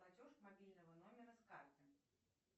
платеж мобильного номера с карты